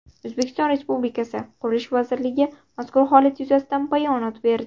O‘zbekiston Respublikasi Qurilish vazirligi mazkur holat yuzasidan bayonot berdi.